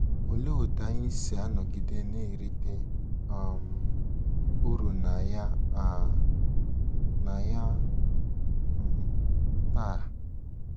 Olee otú anyị si anọgide na-erite um uru na ya um na ya um taa?